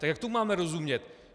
Tak jak tomu máme rozumět?